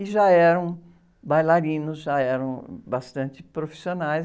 Que já eram bailarinos, já eram bastante profissionais.